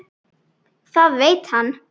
Það veit hann.